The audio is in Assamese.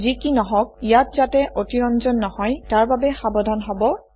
যি কি নহওক ইয়াত যাতে অতিৰঞ্জন নহয় তাৰ বাবে সাৱধান হব160